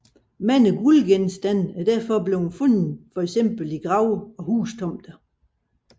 Mange guldgenstande er derfor blevet fundet i fx grave og hustomter